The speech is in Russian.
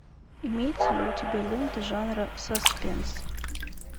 имеется ли у тебя лента жанра саспенс